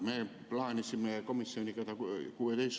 Me plaanisime komisjoniga 16.